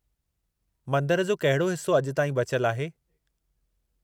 मंदरु जो कहिड़ो हिस्सो अॼु ताईं बचियलु आहे?